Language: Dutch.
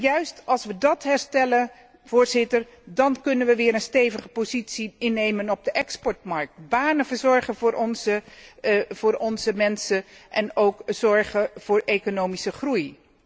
Juist als we die herstellen, dan kunnen we weer een stevige positie innemen op de exportmarkt, banen verzorgen voor onze mensen en ook zorgen voor economische groei.